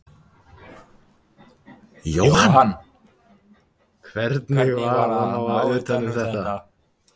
Jóhann: Hvernig var að ná utan um þetta?